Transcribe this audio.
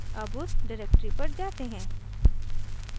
अब उस डिरेक्टरी पर जाते हैं